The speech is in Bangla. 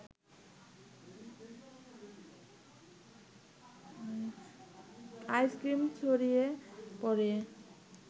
আইসক্রিম ছড়িয়ে পড়ে